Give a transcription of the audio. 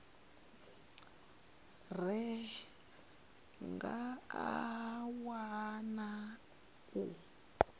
ra nga a wana u